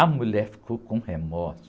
A mulher ficou com um remorso.